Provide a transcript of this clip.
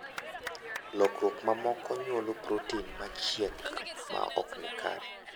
Lokruok mamoko nyuolo protin machiek maok ni kare.